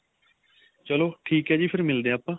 ਚਲੋ ਠੀਕ ਏ ਜੀ ਫੇਰ ਮਿਲਦੇ ਆ ਆਪਾਂ